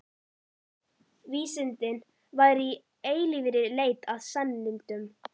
Vísindin væru í eilífri leit að sannindum.